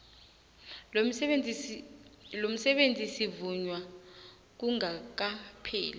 lomsebenzi sivunywa kungakapheli